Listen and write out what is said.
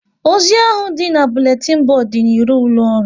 Ozi ahụ dị n'buletin bodu dị n'iro ụlọ ọrụ